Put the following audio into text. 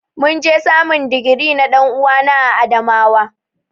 Mun je samun digiri na dan'uwana a Adamawa.